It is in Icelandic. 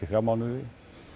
í þrjá mánuði